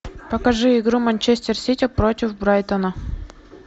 покажи игру манчестер сити против брайтона